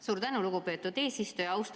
Suur tänu, lugupeetud eesistuja!